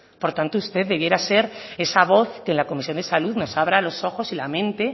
por tanto usted debería de ser esa voz que en la comisión de salud nos abra los ojos y la mente